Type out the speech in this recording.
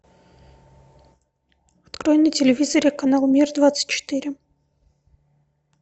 открой на телевизоре канал мир двадцать четыре